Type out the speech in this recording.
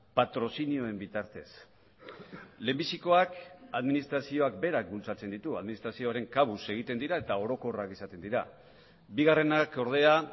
patrozinioen bitartez lehenbizikoak administrazioak berak bultzatzen ditu administrazioaren kabuz egiten dira eta orokorrak izaten dira bigarrenak ordea